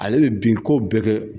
Ale bɛ bin ko bɛɛ kɛ